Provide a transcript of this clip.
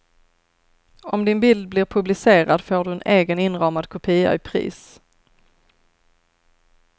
Om din bild blir publicerad får du en egen inramad kopia i pris.